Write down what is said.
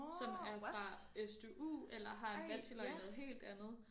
Som er fra SDU eller har en bachelor i noget helt andet